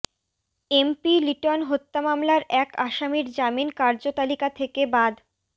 MP Liton হত্যা মামলার এক আসামির জামিন কার্যতালিকা থেকে বাদ